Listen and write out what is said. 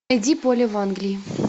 найди поле в англии